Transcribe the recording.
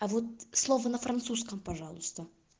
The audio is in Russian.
а вот слово на французском пожалуйста